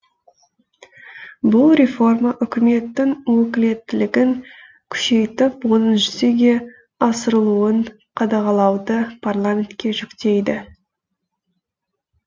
бұл реформа үкіметтің өкілеттілігін күшейтіп оның жүзеге асырылуын қадағалауды парламентке жүктейді